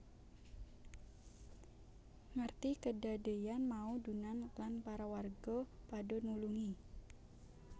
Ngerti kedadeyan mau Dunant lan para warga padha nulungi